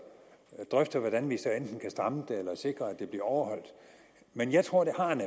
drøfte hvordan vi så enten kan stramme det eller sikre at det bliver overholdt men jeg tror at det